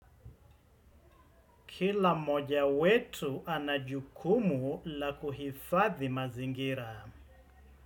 Kila mmoja wetu ana jukumu la kuhifadhi mazingira.